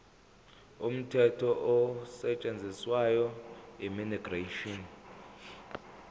umthetho osetshenziswayo immigration